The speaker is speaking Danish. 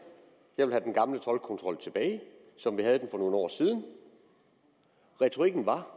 jeg vil have den gamle toldkontrol tilbage som vi havde den for nogle år siden retorikken var